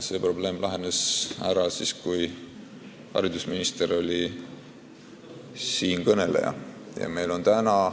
See probleem lahenes ära siis, kui siinkõneleja oli haridusminister.